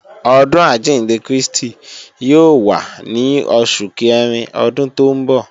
Ọdún àjíǹde Krístì yóò wá ní Oṣù Kẹrin Ọdún tó ń bọ̀